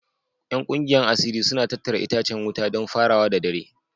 Yan kungiyar asiri suna tattara itacen wuta don farawa da dare